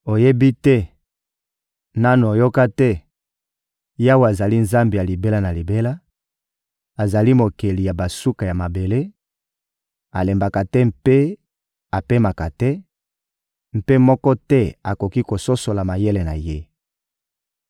Oyebi te? Nanu oyoka te? Yawe azali Nzambe ya libela na libela, azali Mokeli ya basuka ya mabele; alembaka te mpe apemaka te, mpe moko te akoki kososola mayele na Ye.